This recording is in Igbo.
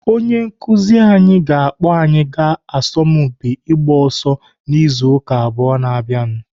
Onye nkụzi anyị ga-akpọ anyị aga asọmpi ịgba ọsọ n'izu ụka abụọ na-abịanụ.